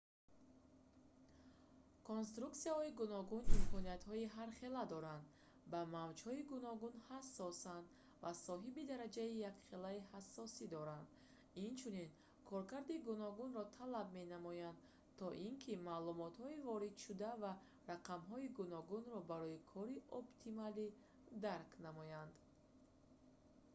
конструксияҳои гуногун имкониятҳои ҳархела доранд ба мавҷҳои гуногун ҳасосанд ва соҳиби дараҷаи ҳархелаи ҳассосӣ доранд инчунин коркарди гуногунро талаб менамоянд то ин ки маълумотҳои воридшуда ва рақамҳои гуногунро барои кори оптималӣ дарк намоянд